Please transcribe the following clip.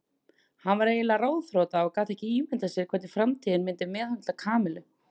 Hann var eiginlega ráðþrota og gat ekki ímyndað sér hvernig framtíðin myndi meðhöndla Kamillu.